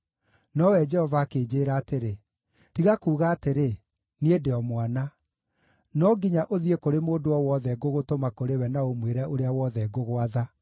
Nowe Jehova akĩnjĩĩra atĩrĩ: “Tiga kuuga atĩrĩ, ‘Niĩ ndĩ o mwana.’ No nginya ũthiĩ kũrĩ mũndũ o wothe ngũgũtũma kũrĩ we na ũmwĩre ũrĩa wothe ngũgwatha.